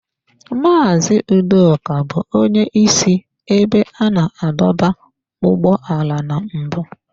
Mazị Udoka bụ onye isi ebe a na-adọba ụgbọala na mbụ.